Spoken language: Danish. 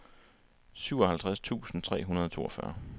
syvoghalvtreds tusind tre hundrede og toogfyrre